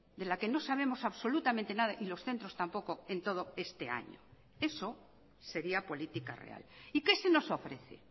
de la que no sabemos absolutamente nada y los centros tampoco en todo este año eso sería política real y qué se nos ofrece